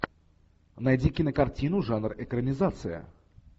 найди кинокартину жанр экранизация